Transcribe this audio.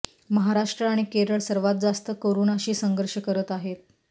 महाराष्ट्र आणि केरळ सर्वात जास्त कोरोनाशी संघर्ष करत आहे